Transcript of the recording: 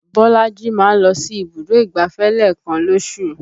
Bolaji máa ń lọ sí ibùdó ìgbáfẹ́ lẹ́ẹ̀kan lóṣù